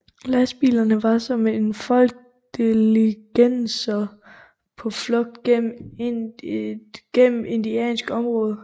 Lastbilerne var som en flok diligencer på flugt gennem indiansk område